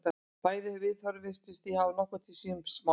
Bæði viðhorfin virðast því hafa nokkuð til síns máls.